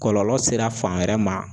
Kɔlɔlɔ sera fan wɛrɛ ma